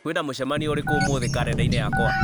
kwĩna mĩcemanio ĩrĩkũ ũmũthĩ karenda-inĩ yakwa